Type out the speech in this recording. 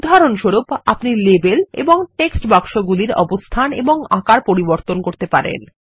উদাহরণস্বরূপ আপনিলেবেল এবং টেক্সট বাক্সেগুলিরঅবস্থান এবং আকার পরিবর্তন করতে পারেন